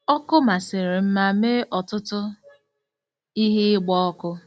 Ọkụ masịrị m ma mee ọtụtụ ihe ịgba ọkụ.